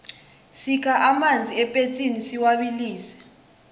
sikha amanzi epetsini siwabilise